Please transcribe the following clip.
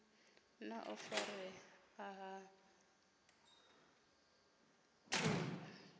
na u farea ha ṱhungu